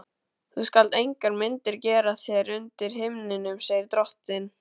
Þú skalt engar myndir gera þér undir himninum, segir drottinn.